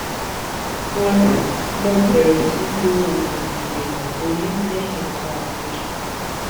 mo mo bẹ̀rẹ̀ sí i lo oògun ìdènà oyún lẹ́yìn nǹkan oṣù